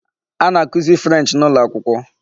A na-akụzi 'French' n'ụlọakwụkwọ.